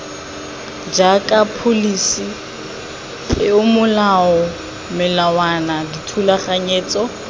jaaka pholisi peomolao melawana dithulaganyetso